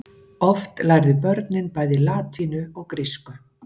Oft lærðu börnin bæði latínu og grísku.